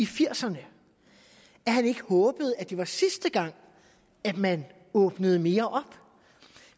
firserne at han ikke håbede at det var sidste gang man åbnede mere op